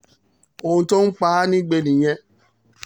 ohun tó ń pa á nígbe nìyẹn